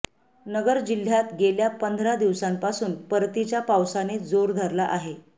नगर जिह्यात गेल्या पंधरा दिवसांपासून परतीच्या पावसाने जोर धरला आहे